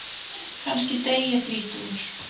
Kannski dey ég þrítugur.